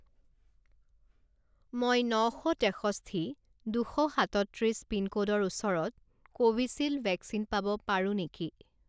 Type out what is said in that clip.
মই ন শ তেষষ্ঠি দুশ সাতত্ৰিছ পিনক'ডৰ ওচৰত কোভিচিল্ড ভেকচিন পাব পাৰোঁ নেকি?